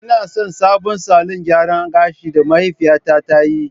Ina son sabon salon gyaran gashi da mahaifiyata ta yi